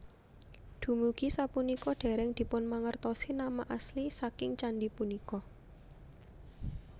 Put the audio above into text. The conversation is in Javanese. Dumugi sapunika dereng dipunmangertosi nama asli saking candhi punika